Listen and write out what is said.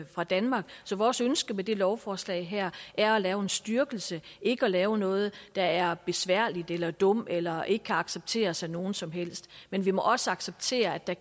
fra danmark så vores ønske med det lovforslag her er at lave en styrkelse ikke at lave noget der er besværligt eller dumt eller ikke kan accepteres af nogen som helst men vi må også acceptere at der